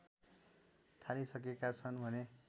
थालिसकेका छन् भने